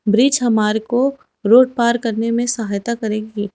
Bridge हमारे को road पार करने में सहायता करेंगे।